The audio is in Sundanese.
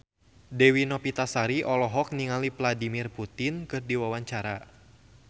Dewi Novitasari olohok ningali Vladimir Putin keur diwawancara